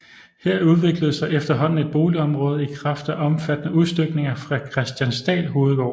Her udviklede sig efterhånden et boligområde i kraft af omfattende udstykninger fra Kristiansdal Hovedgård